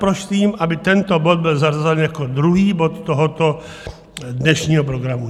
Prosím, aby tento bod byl zařazen jako druhý bod tohoto dnešního programu.